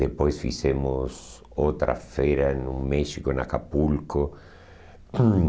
Depois fizemos outra feira no México, em Acapulco.